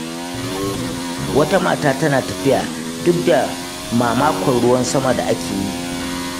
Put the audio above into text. Wata mata tana ta tafiya duk da mamakon ruwan sama da ake yi.